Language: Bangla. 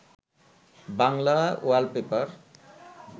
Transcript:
বাংলা ওয়ালপেপার